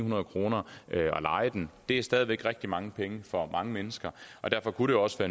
nul kroner ved at leje den det er stadig væk rigtig mange penge for mange mennesker og derfor kunne det også